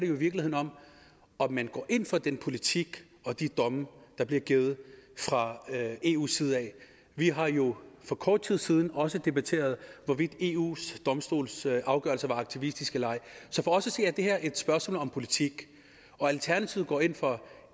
virkeligheden om om man går ind for den politik og de domme der bliver givet fra eus side vi har jo for kort tid siden også debatteret hvorvidt eus domstolsafgørelser er aktivistiske eller ej så for os at se er det her et spørgsmål om politik alternativet går ind for